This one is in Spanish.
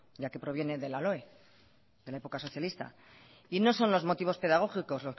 ya que proviene de la loe de la época socialista y no son los motivos pedagógicos